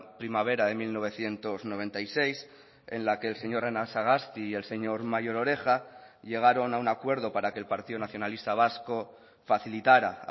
primavera de mil novecientos noventa y seis en la que el señor anasagasti y el señor mayor oreja llegaron a un acuerdo para que el partido nacionalista vasco facilitara